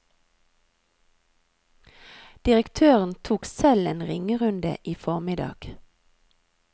Direktøren tok selv en ringerunde i formiddag.